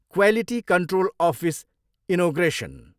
Quality control office inauguration.